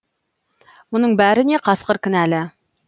мұның бәріне қасқыр кінәлі